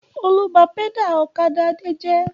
Olú bá pẹ́dà ọ̀kadà Adé jẹ́.